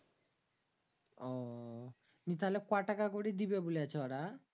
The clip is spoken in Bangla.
তাহলে কটাকা করি দিবে বলছে ওরা